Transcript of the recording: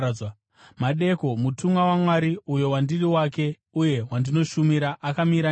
Madeko mutumwa waMwari uyo wandiri wake uye wandinoshumira akamira neni